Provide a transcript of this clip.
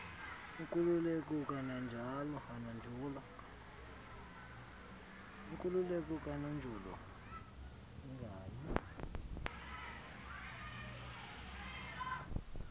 nkululeko kananjolo singayi